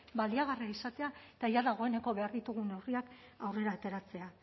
baliagarria izatea eta dagoeneko behar ditugun neurriak aurrera ateratzea